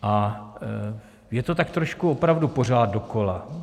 A je to tak trošku opravdu pořád dokola.